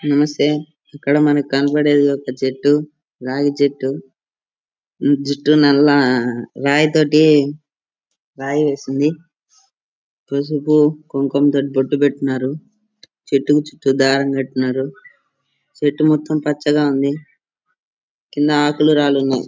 నమస్తే ఇక్కడ మనకి కనపడుతున్నది ఒక చెట్టురాగీ చెట్టు జుట్టు నల్ల రాయి తోటి రాయ వేసింది పసుపు కుకమా తోటి బొట్టు పెట్టినారు చెట్టు కి చుట్టూ దారం కట్టినారు చెట్టు కొత్త పచ్చ గ ఉంది కింద ఆకులు రాళ్ళు ఉన్నాయ్.